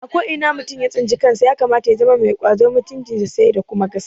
A ko ina mutum ya tsinci kansa ya kamata ya zama mai ƙwazo, mutunci sai da kuma gaskiya